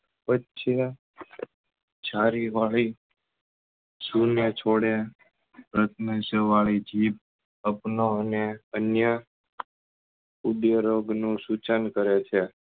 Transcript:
છારી વાળી શુન્યછોડ્યા રત્ન્સેવાળ વાળી જીભ અને અન્ય ઉદય રોગ નું સુચન કરે છે